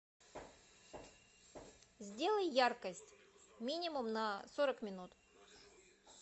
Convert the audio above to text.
сделай яркость минимум на сорок минут